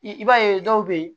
I b'a ye dɔw bɛ ye